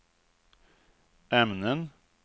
ämnen